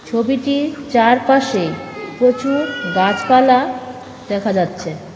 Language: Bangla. ছবিটির চারপাশে প্রচুর গাছপালা দেখা যাচ্ছে।